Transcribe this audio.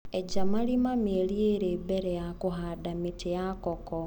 Eja marima mĩeri ĩrĩ mbere ya kũhanda mĩtĩ ya koko.